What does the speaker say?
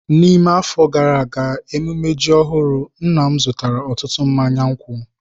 N'ime afọ gara aga ememme ji ọhụrụ nna m zụtara ọtụtụ mmanya nkwụ.